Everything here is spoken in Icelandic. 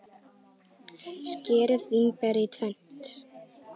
Skerið vínber í tvennt.